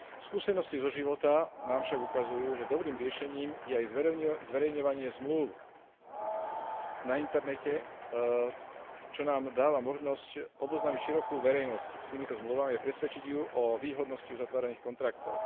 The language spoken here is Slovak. Skúsenosti zo života nám však ukazujú, že dobrým riešením je aj zverejňovanie zmlúv na internete, čo nám dáva možnosť oboznámiť širokú verejnosť s týmito zmluvami a presvedčiť ju o výhodnosti uzatvorených kontraktov.